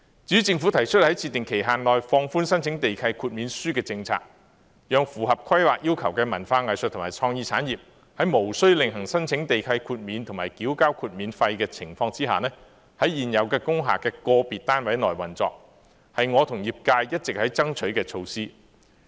至於政府提出在設定期限內放寬申請地契豁免書的政策，讓符合規劃要求的文化藝術和創意產業，在無需另行申請地契豁免和繳交豁免費的情況下，在現有工廈的個別單位內運作，這是我和業界一直爭取的措施。